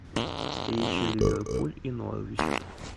встреча ливерпуль и норвич